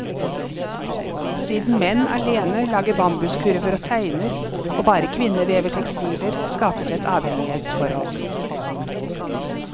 Siden menn alene lager bambuskurver og teiner og bare kvinner vever tekstiler, skapes et avhengighetsforhold.